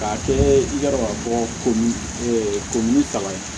K'a kɛɛ i y'a dɔn k'a fɔ ko ni kalan ye